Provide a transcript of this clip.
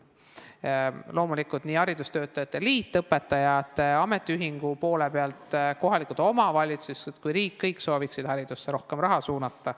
Loomulikult, haridustöötajate liit õpetajate ametiühingu poole pealt, kohalikud omavalitsused ja riik – kõik sooviksid haridusse rohkem raha suunata.